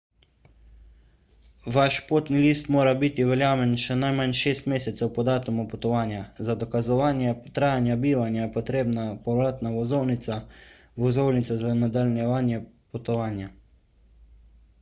vaš potni list mora biti veljaven še najmanj 6 mesecev po datumu potovanja. za dokazovanje trajanja bivanja je potrebna povratna vozovnica/vozovnica za nadaljevanje potovanja